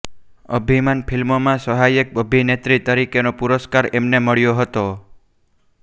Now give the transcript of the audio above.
અભિમાન ફિલ્મમાં સહાયક અભિનેત્રી તરીકેનો પુરસ્કાર એમને મળ્યો હતો